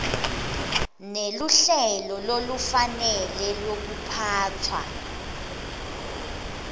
neluhlelo lolufanele lwekuphatfwa